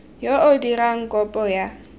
yo o dirang kopo ya